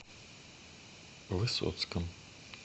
высоцком